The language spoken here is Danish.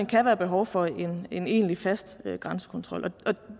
kan være behov for en en egentlig fast grænsekontrol